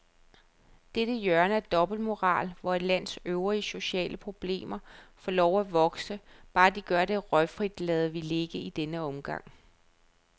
Dette hjørne af dobbeltmoral, hvor et lands øvrige sociale problemer får lov at vokse, bare de gør det røgfrit, lader vi ligge i denne omgang.